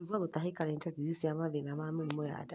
Kũigua gũtahĩka nĩ ndariri cia mathĩna ma nda